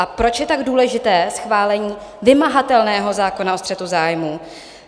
A proč je tak důležité schválení vymahatelného zákona o střetu zájmů?